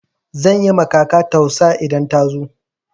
Zan yi ma kaka tausa idan ta zo.